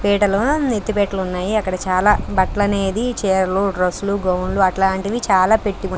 పీటలు ఎత్తి పీటలు ఉన్నాయి అక్కడ చాలా బట్టలు అనేది చీరలు డ్రెస్సులు గౌన్లు అట్లాంటివి చాలా పెట్టి --